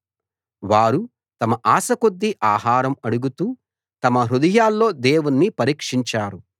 వారు తమ ఆశకొద్దీ ఆహారం అడుగుతూ తమ హృదయాల్లో దేవుణ్ణి పరీక్షించారు